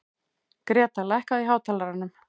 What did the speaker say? Greta, lækkaðu í hátalaranum.